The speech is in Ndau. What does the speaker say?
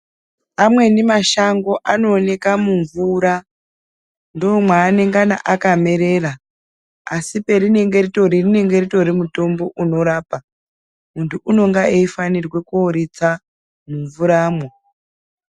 Amweni mashango anooneka mumvura ndomwaa nengana akamerera asi perinenge ritori mutombo inorapa ,muntu unonga eyifanirwa kuno ritsa mumvura mwo.